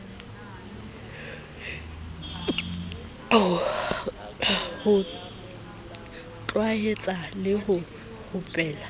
ho tlwaetsa le ho rupela